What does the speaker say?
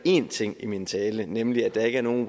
én ting i min tale nemlig at der ikke er nogen